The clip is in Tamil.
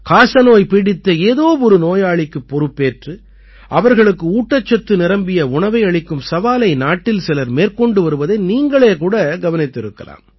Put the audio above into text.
காசநோய் பீடித்த ஏதோ ஒரு நோயாளிக்குப் பொறுப்பேற்று அவர்களுக்கு ஊட்டச்சத்து நிரம்பிய உணவை அளிக்கும் சவாலை நாட்டில் சிலர் மேற்கொண்டு வருவதை நீங்களே கூட கவனித்திருக்கலாம்